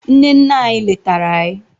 nne nne anyi letara anyi